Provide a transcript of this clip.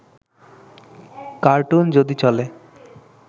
cartoon যদি চলে